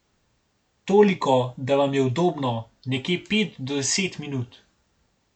Toliko, da vam je udobno, nekje pet do deset minut.